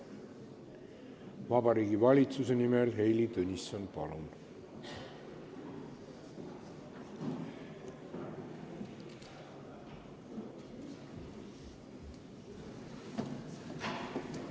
Vabariigi Valitsuse nimel Heili Tõnisson, palun!